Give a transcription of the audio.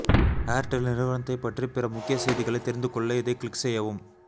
Airtel நிறுவனத்தை பற்றி பிற முக்கிய செய்திகளை தெரிந்துக்கொள்ள இதை கிளிக் செய்யவும்